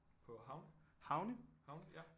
På havne? Havne ja